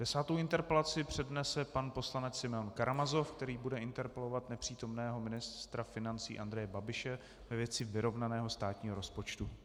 Desátou interpelaci přednese pan poslanec Simeon Karamazov, který bude interpelovat nepřítomného ministra financí Andreje Babiše ve věci vyrovnaného státního rozpočtu.